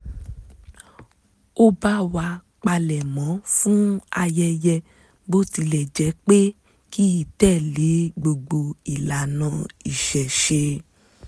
ó bá wa palẹ̀mọ́ fún ayẹyẹ bó tilẹ̀ jẹ́ pé kìí tẹ̀lé gbogbo ìlànà ìṣẹ̀ṣe